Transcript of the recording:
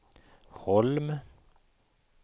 Holm